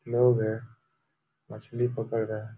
लोग हैं। मछली पकड़ रहे हैं।